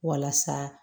Walasa